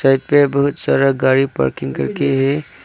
side पे बहोत सारा गाड़ी पार्किंग करके हे--